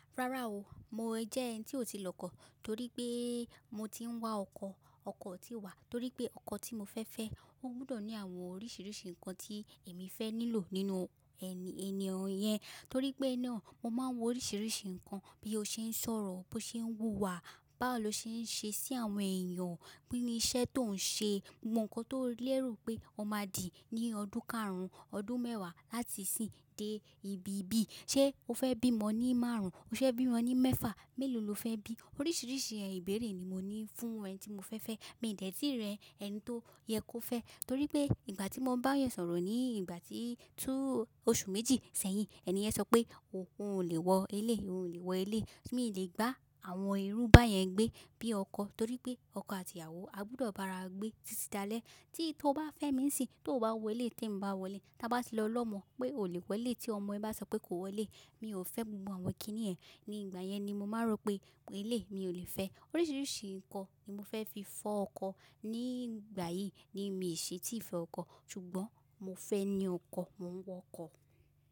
Rárá o, mo jẹ́ ẹni tí ò tí lọ kọ́ torí pé mo ti ń wá ọkọ, ọkọ ti wà torí pé ọkọ tí mo fẹ́ fẹ́, ó gbọdọ̀ ní àwọn oríṣiríṣi nǹkan tí èmi fẹ́ nílò nínú ẹni, ẹni ọ̀yẹn torí pé ẹni ọ̀n, mo máa ń wo oríṣiríṣi nǹkan bí ó ṣe ń sọ̀rọ̀, bí ó ṣe ń wùwà, báwo ló ṣe ń ṣe sí àwọn èèyàn, kinní iṣẹ́ tó ń ṣe, gbogbo nǹkan tó lérò pé ọmọ á dì ní ọdún karùn-ún, ọdún mẹ́wàá láti ìsín dé ibí bíi. Ṣé o fẹ́ bímo ní márùn-ún? Ṣé o fẹ́ bímo ní mẹ́fà? Mélòó lo fẹ́ bí? Oríṣiríṣi ibẹ̀re ni mo ní fún ẹni tí mo fẹ́ fẹ́. Mi ò dẹ́ti ri ẹni tó yẹ kó fẹ́ torí pé ìgbà tí mo bá yan sọ̀rọ̀ ní ìgbà tí tú oṣù méjì sẹ́yìn, ẹni yẹn sọ pé òun ò lè wọ eléyi, òun ò lè wọ eléyi, mi ò lè bá àwọn irú bá yẹn gbé bí ọkọ? Torí pé ọkọ àti ìyàwó a gbudọ̀ bá ara gbé títí dalẹ́. Tí to bá fẹ́ mi nsin to bá wọ eleyi tí n bá wọ eléyi, ta bá ti lọ lọ́mọ pé ò lè wọ eleyi tí ọmọ ẹ bá sọ pé kò wọ eleyi, mi ò fẹ́ gbogbo àwọn kíní yen. Ní ìgbà yẹn ni mo máa rò pé eleyi mi ò lè fẹ́. Oríṣiríṣi nǹkan ni mo fẹ́ fi fọ ọkọ. Ní ìgbà yìí ni mi ò ṣe tí ì fẹ́ ọkọ, ṣùgbọ́n mo fẹ́ ní ọkọ, mò ń wọ ọkọ.